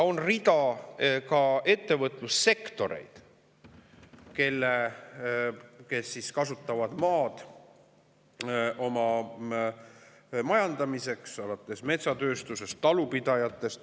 On ka rida ettevõtlussektoreid, kus kasutatakse maad enda ära majandamiseks, alates metsatööstusest ja talupidajatest.